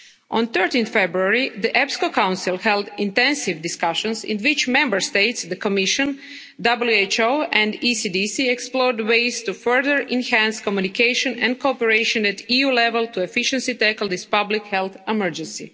On 13 February, the EPSCO Council held intensive discussions in which Member States, the Commission, the WHO and the ECDC explored ways to further enhance communication and cooperation at EU level to efficiently tackle this public health emergency.